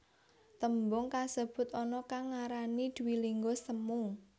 Tembung kasebut ana kang ngarani dwilingga semu